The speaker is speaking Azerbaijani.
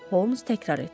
Holmes təkrar etdi.